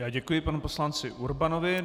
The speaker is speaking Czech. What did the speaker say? Já děkuji panu poslanci Urbanovi.